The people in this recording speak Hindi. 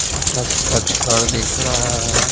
छोटा-छोटा छड़ दिख रहा है।